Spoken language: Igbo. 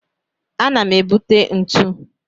Ana m ebute ntu.